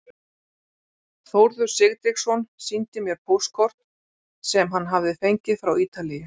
Þórður Sigtryggsson sýndi mér póstkort sem hann hafði fengið frá Ítalíu.